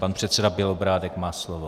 Pan předseda Bělobrádek má slovo.